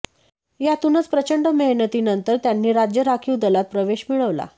यातूनच प्रचंड मेहनतीनंतर त्यांनी राज्य राखीव दलात प्रवेश मिळवला